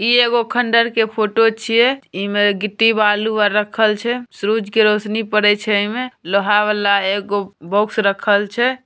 इ एगो खंडहर के फोटो छिये। इमे गिट्टी-बालू अर रखल छै। सूरज की रोशनी पड़े छै एमे। लोहा वाला एगो बॉक्स रखल छै।